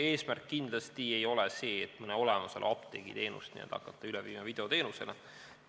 Eesmärk kindlasti ei ole see, et hakata mõne olemasoleva apteegi teenust nüüd üle viima videoteenusele.